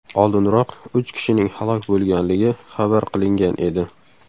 Oldinroq, uch kishining halok bo‘lganligi xabar qilingan edi .